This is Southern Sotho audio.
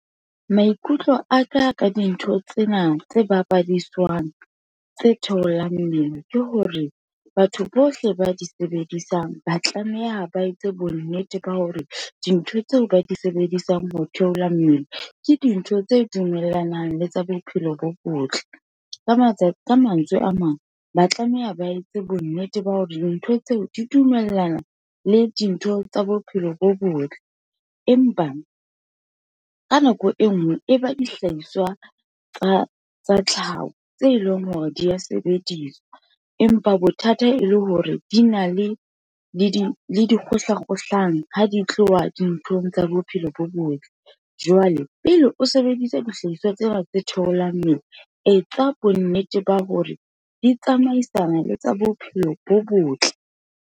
Maikutlo aka ka dintho tsena tse bapadiswang, tse theolang mmele ke hore, batho bohle ba di sebedisang ba tlameha ba etse bonnete ba hore, dintho tseo ba di sebedisang ho theola mmele, ke dintho tse dumellanang le tsa bophelo bo botle. Ka mantswe a mang, ba tlameha ba etse bonnete ba hore dintho tseo, di dumellana le dintho tsa bophelo bo botle, empa ka nako e nngwe e ba dihlahiswa tsa tlhaho, tse leng hore di ya sebediswa, empa bothata e le hore di na le dikgohlakgohlano, ha di tloha dinthong tsa bophelo bo botle, jwale pele o sebedisa dihlahiswa tsena tse theolang mmele. Etsa bonnete ba hore di tsamaisana le tsa bophelo bo botle.